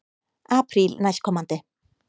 Apríl næstkomandi.